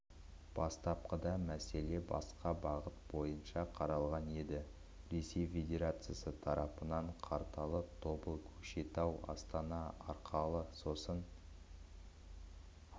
бастапқыда мәселе басқа бағыт бойынша қаралған еді ресей федерациясы тарапынан қарталы тобыл көкшетау астана арқылы сосын